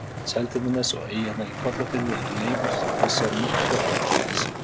Seltjarnarnes og eyjarnar í Kollafirði eru leifar þessa mikla hraunflæmis.